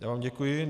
Já vám děkuji.